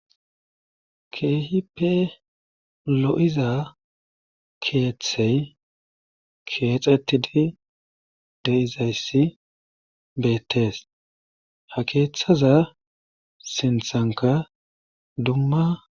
Keehippe lo7iza keethey keexettidi de7izayssi beettees ha keethaza sinthankka dumma.